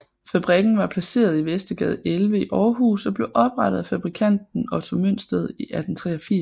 Fabrikken var placeret i Vestergade 11 i Aarhus og blev oprettet af fabrikanten Otto Mønsted i 1883